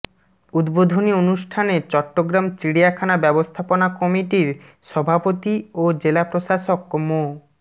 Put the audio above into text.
উদ্বোধনী অনুষ্ঠানে চট্টগ্রাম চিড়িয়াখানা ব্যবস্থাপনা কমিটির সভাপতি ও জেলা প্রশাসক মো